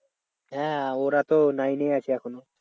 হ্যাঁ ওরা তো nine এই আছে এখনও।